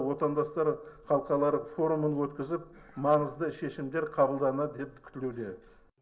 отандастар халықаралық форумын өткізіп маңызды шешімдер қабылданады деп күтілуде